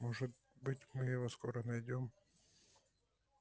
может быть мы его скоро найдём